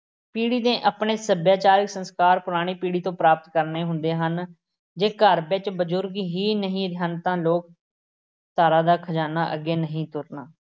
ਪੀੜ੍ਹੀ ਨੇ ਆਪਣੇ ਸੱਭਿਆਚਾਰਿਕ ਸੰਸਕਾਰ ਪੁਰਾਣੀ ਪੀੜ੍ਹੀ ਤੋਂ ਪ੍ਰਾਪਤ ਕਰਨੇ ਹੁੰਦੇ ਹਨ ਜੇ ਘਰ ਵਿੱਚ ਬਜ਼ੁਰਗ ਹੀ ਨਹੀਂ ਹਨ ਤਾਂ ਲੋਕ ਧਾਰਾ ਦਾ ਖ਼ਜ਼ਾਨਾ ਅੱਗੇ ਨਹੀਂ ਤੁਰਨਾ